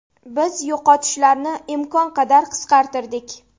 Biz yo‘qotishlarni imkon qadar qisqartirdik.